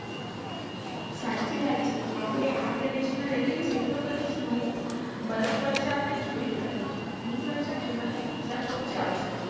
સાચી વાત છે આપને આ પ્રદેશ માં રહીએ છે તો કદી snowfall બરફવર્ષા આપને જોઇ જ નથી હિમવર્ષા જોવની મજા બોવ જ આવશે